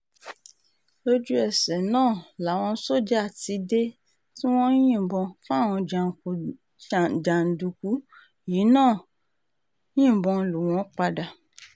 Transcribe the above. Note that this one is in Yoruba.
lójútèsè náà náà làwọn sójà ti dé tí wọ́n ń yìnbọn táwọn jàǹdùkú yìí náà ń yìnbọn lù wọ́n padà